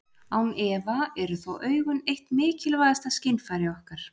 Án efa eru þó augun eitt mikilvægasta skynfæri okkar.